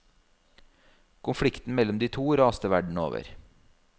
Konflikten mellom de to raste verden over.